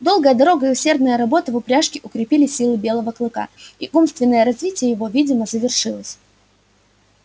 долгая дорога и усердная работа в упряжке укрепили силы белого клыка и умственное развитие его видимо завершилось